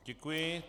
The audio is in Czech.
Děkuji.